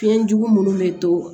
Fiɲɛjugu minnu bɛ to